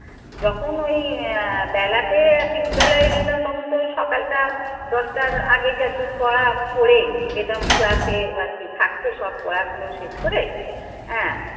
যখন ওই আহ বেলাতে আর কি বিদ্যালয়ে যেতাম তখন তো সকালটা দশটা দশটার আগে যে এত করা পড়ে যেতাম ক্লাসে এবার থাকতো সব পড়া গুলো শেষ করে হ্যাঁ,